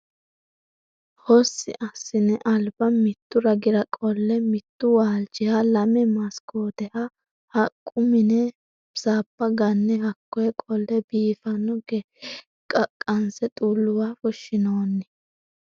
Hosi assine alba mitu ragira qolle mitu waalchiha lame masikoteha haqqu mine mine sabba ganne hakkoe qolle biifano gede qaqanse xuluwa fushinonni.